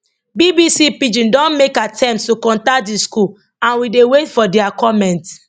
bbc pidgin don make attempts to contact di school and we dey wait for dia comment